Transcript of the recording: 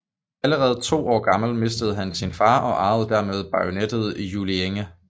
Allerede to år gammel mistede han sin far og arvede dermed baroniet Juellinge